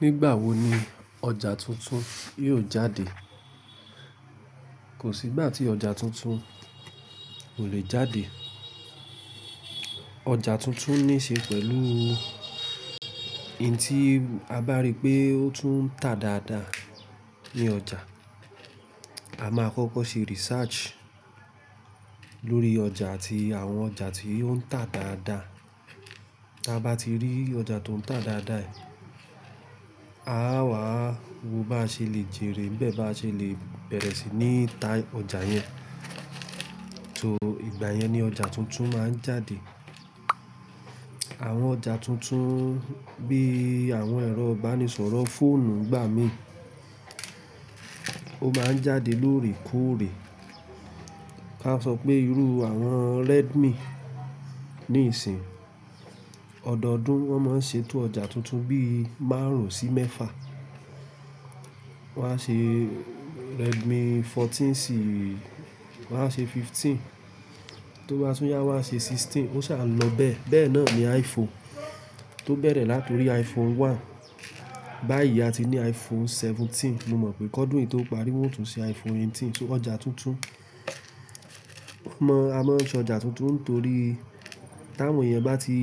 Nígbà wo ni ọjà tuntun yóò jáde? Kò sí ìgbà tí ọjà tuntun kò lè jáde. Tuntun ní ṣe pẹ̀lú in tí a bá rí pé ó tún ń tà dáadáa ní ọjà. A máa kọ́kọ́ ṣe research lórí ọjà àti àwọn ọjà tí ó ń tà dáadáa. Ta bá ti rí ọjà tó ń tà dáadáa, a á wá wo bá ṣe lè jèrè n bẹ́ẹ̀ bá ṣe lè bẹ̀rẹ̀ sí ní ta ọjà yẹn. So ìgbà yẹn ni ọjà tuntun máa ń jáde. Àwọn ọjà tuntun bí i àwọn ẹ̀rọ ìbánisọ̀rọ̀ fóònù n gbà mí, ó máa ń jáde lóòrèkóòrè. Ka sọ pé irú àwọn Redmi níìsín, ọdọọdún wọ́n máa ń ṣetú ọjà tuntun bí i márùn-ún sí mẹ́fa. Wọ́n á ṣe Redmi 14 sí wọ́n á ṣe 15, tó bá tún yá wọ́n á ṣe 16 ó sa n lọ bẹ́ẹ̀. Bẹ́ẹ̀ náà ni iPhone tó bẹ̀rẹ̀ láti orí iPhone 1 báyìí a ti ní iPhone 17. Mo mọ̀ pé kọ́dún yìí tó parí wọ́n ó tún ṣe iPhone 18. So ọjà tuntun, wọ́n mọ̀ a máa ń ṣe ọjà tuntun torí tí àwọn eeyan bá ti